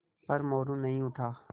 पर मोरू नहीं उठा